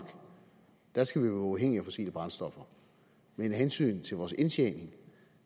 skal være uafhængige af fossile brændstoffer men af hensyn til vores indtjening